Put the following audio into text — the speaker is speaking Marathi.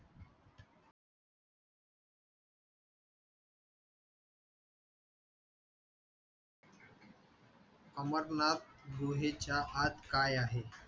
अमरनाथ गुहेच्या आत काय आहे?